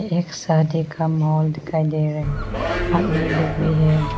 एक शादी का माल दिखाई दे रहा है आदमी लोग भी हैं।